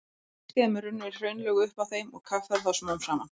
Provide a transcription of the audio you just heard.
Á hlýskeiðum runnu hraunlög upp að þeim og kaffærðu þá smám saman.